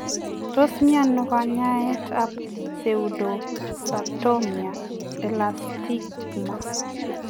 Tos mienoo kanyaet ap pseudoxathoma elastikam?